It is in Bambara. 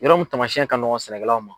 Yɔrɔ mun taamasiyɛn ka nɔgɔn sɛnɛkɛlaw ma.